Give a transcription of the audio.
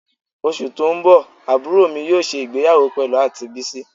Osu to n bo aburo mi yoo se igbeyawo pelu anti Bisi